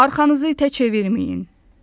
Arxanızı tək çevirməyin.